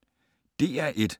DR1